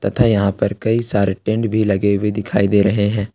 तथा यहां पर कई सारे टेंट भी लगे हुए दिखाई दे रहे हैं।